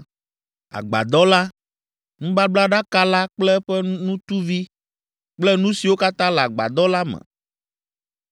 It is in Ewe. “agbadɔ la, Nubablaɖaka la kple eƒe nutuvi, kple nu siwo katã le agbadɔ la me,